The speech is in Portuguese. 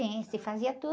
Sim, se fazia tudo.